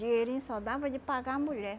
Dinheirinho só dava de pagar a mulher.